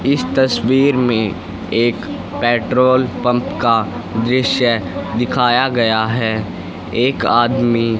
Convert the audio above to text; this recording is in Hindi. इस तस्वीर में एक पेट्रोल पंप का दृश्य दिखाया गया है एक आदमी--